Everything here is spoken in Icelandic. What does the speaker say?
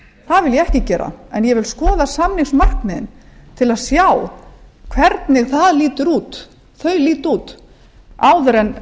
ég ekki gera en ég vil skoða samningsmarkmiðin til að sjá hvernig þau líta út áður